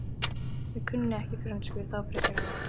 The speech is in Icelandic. Ég kunni ekki frönsku þá frekar en nú.